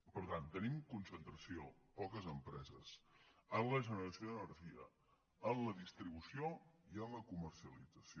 per tant tenim concentració poques empreses en la generació d’energia en la distribució i en la comercialització